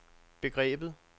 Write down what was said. begrebet